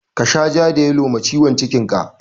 Ka sha ja da yalo ma ciwon cikin ka!